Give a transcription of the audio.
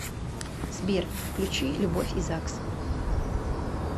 сбер включи любовь и загс